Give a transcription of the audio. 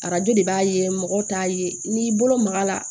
Arajo de b'a ye mɔgɔ t'a ye n'i y'i bolo maga a la